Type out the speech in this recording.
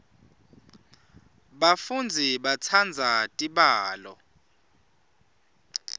bafundzi batsandza tibalo